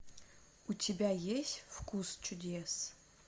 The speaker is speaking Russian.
у тебя есть вкус чудес